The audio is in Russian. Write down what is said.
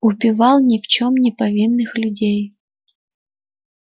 убивал ни в чём не повинных людей